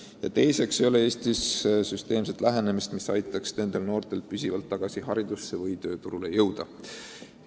Ja teiseks ei ole Eestis süsteemset lähenemist, mis aitaks nendel noortel püsivalt koolis või tööl käima hakata.